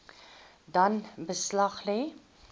dan beslag lê